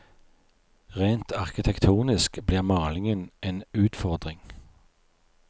Rent arkitektonisk blir malingen en utfordring.